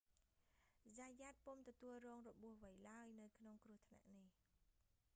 zayat ពុំទទួលរងរបួសអ្វីឡើយ នៅក្នុងគ្រោះថ្នាក់នេះ